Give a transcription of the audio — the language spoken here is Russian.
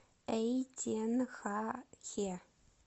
эйтенхахе